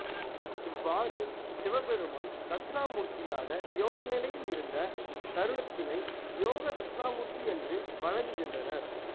இவ்வாறு சிவபெருமான் தட்சிணாமூர்த்தியாக யோக நிலையில் இருந்த தருணத்தினை யோக தட்சிணாமூர்த்தி என்று வழங்குகின்றனர்